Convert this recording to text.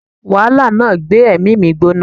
Wàhálà náà gbé èmí mi gbóná